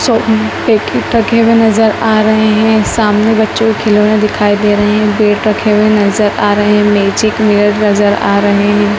सौ रुपए के टके हुए नज़र आ रहे हैं सामने बच्चों के खिलौने दिखाई दे रहे हैं बैट रखे हुए नज़र आ रहे हैं मैजिक मिरर नज़र आ रहे हैं।